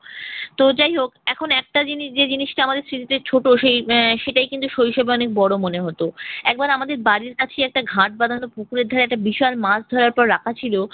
তো যাই হোক এখন একটা জিনিস যে জিনিসটা আমাদের স্মৃতিতে ছোট সেই আহ সেটাই কিন্তু শৈশবে অনেক বড় মনে হতো। একবার আমাদের বাড়ির কাছে একটা ঘাট বাঁধানো পুকুরের ধারে একটা বিশাল মাছ ধরার পরে রাখা ছিল।